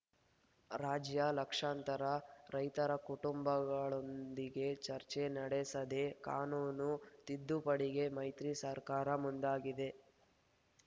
ರಾಜ್ಯ ಲಕ್ಷಾಂತರ ರೈತರ ಕುಟುಂಬಗಳೊಂದಿಗೆ ಚರ್ಚೆ ನಡೆಸದೆ ಕಾನೂನು ತಿದ್ದುಪಡಿಗೆ ಮೈತ್ರಿ ಸರ್ಕಾರ ಮುಂದಾಗಿದೆ